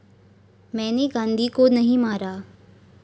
मैने गांधी को नाही मारा